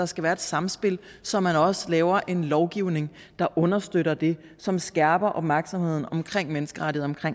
skal være et samspil så man også laver en lovgivning der understøtter det som skærper opmærksomheden omkring menneskerettigheder